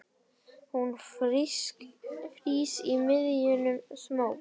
Hún frýs í miðjum smók.